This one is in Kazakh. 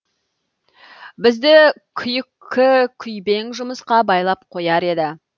бізді күйкі күйбең жұмысқа байлап қояр еді